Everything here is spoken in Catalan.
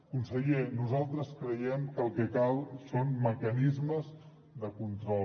conseller nosaltres creiem que el que cal són mecanismes de control